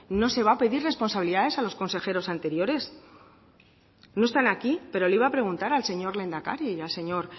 no se va a pedir responsabilidades a los consejeros anteriores no están aquí pero le iba a preguntar al señor lehendakari y al señor